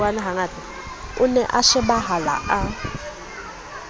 o ne a shebahala a